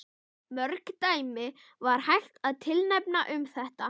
Mörg dæmi væri hægt að tilnefna um þetta.